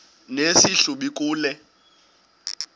nesi hlubi kule